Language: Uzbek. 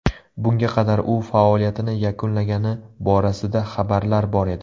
Bunga qadar u faoliyatini yakunlagani borasida xabarlar bor edi.